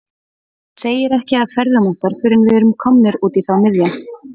Segir ekki af ferðum okkar fyrr en við er- um komnir út í þá miðja.